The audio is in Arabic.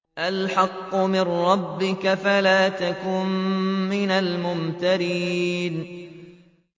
الْحَقُّ مِن رَّبِّكَ فَلَا تَكُن مِّنَ الْمُمْتَرِينَ